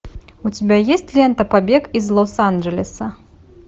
у тебя есть лента побег из лос анджелеса